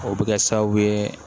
O bɛ kɛ sababu ye